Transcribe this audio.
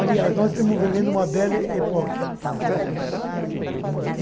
Aliás, nós estamos vivendo uma bela época.